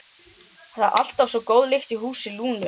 Alltaf svo góð lyktin í húsi Lúnu.